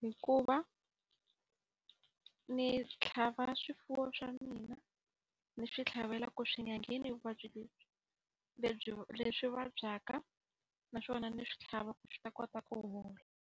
hi ku va ni tlhava swifuwo swa mina ni swi tlhavela ku swi enyangheni vuvabyi lebyi. Lebyi leswi vabyaka na swona ni swi tlhava ku swi ta kota ku hola.